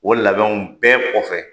O labɛnw bɛɛ kɔfɛ